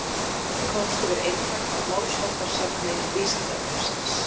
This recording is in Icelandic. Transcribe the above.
Þessi komst yfir eintak af málsháttasafni Vísindavefsins.